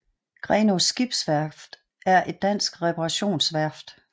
Grenaa Skibsværft er et dansk reparationsværft